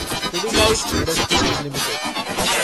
Pidilite industries limited